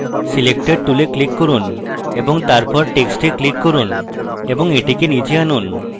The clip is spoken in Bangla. selector tool click করুন তারপর টেক্সটে click করুন এবং এটিকে নীচে আনুন